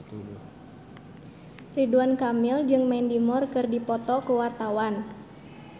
Ridwan Kamil jeung Mandy Moore keur dipoto ku wartawan